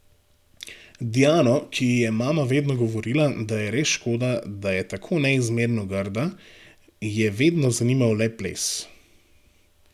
Diano, ki ji je mama vedno govorila, da je res škoda, da je tako neizmerno grda, je vedno zanimal le ples.